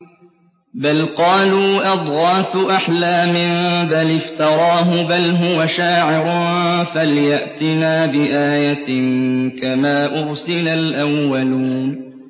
بَلْ قَالُوا أَضْغَاثُ أَحْلَامٍ بَلِ افْتَرَاهُ بَلْ هُوَ شَاعِرٌ فَلْيَأْتِنَا بِآيَةٍ كَمَا أُرْسِلَ الْأَوَّلُونَ